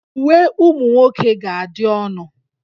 Uwe ụmụ nwoke ga-adị ọnụ